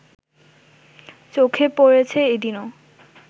চোখে পড়েছে এদিনও